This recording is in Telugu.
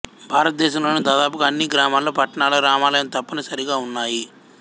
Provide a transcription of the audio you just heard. భారతదేశంలోని దాదాపుగా అన్ని గ్రామాలలో పట్టణాలలో రామాలయం తప్పని సరిగా ఉన్నాయి